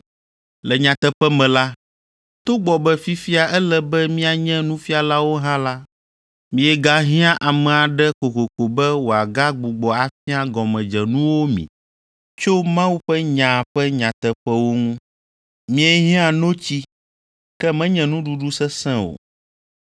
Le nyateƒe me la, togbɔ be fifia ele be mianye nufialawo hã la, miegahiã ame aɖe kokoko be wòagagbugbɔ afia gɔmedzenuwo mi tso Mawu ƒe nya ƒe nyateƒewo ŋu. Miehiã notsi, ke menye nuɖuɖu sesẽ o!